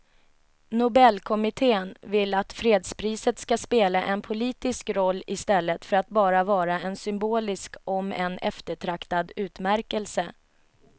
Nobelkommittén vill att fredspriset ska spela en politisk roll i stället för att bara vara en symbolisk om än eftertraktad utmärkelse.